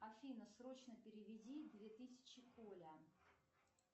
афина срочно переведи две тысячи коля